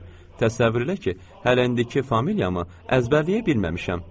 “Təsəvvür elə ki, hələ indiki familiyamı əzbərləyə bilməmişəm.”